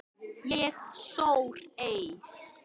Ég sór eið.